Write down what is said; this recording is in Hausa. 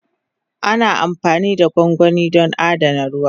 Ana amfani da gwangwani don adana ruwa.